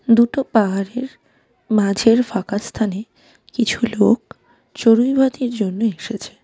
দুটো পাহাড়ের মাঝের ফাঁকা স্থানে কিছু লোক চড়ুইভাতির জন্য এসেছে .